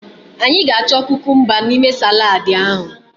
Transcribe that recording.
Anyị ga-achọ kukumba n'ime saladu ahụ.